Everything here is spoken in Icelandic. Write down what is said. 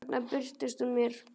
Þarna birtist hún mér.